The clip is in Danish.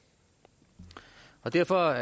derfor